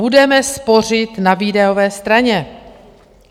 Budeme spořit na výdajové straně.